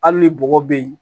Hali ni bɔgɔ be yen